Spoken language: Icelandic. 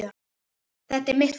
Þetta er mitt fólk.